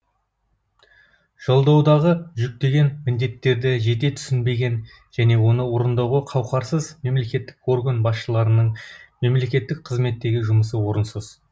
жолдаудағы жүктеген міндеттерді жете түсінбеген және оны орындауға қауқарсыз мемлекеттік орган басшыларының мемлекеттік қызметтегі жұмысы орынсыз